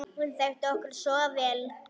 Hún þekkti okkur svo vel.